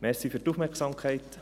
Danke für die Aufmerksamkeit.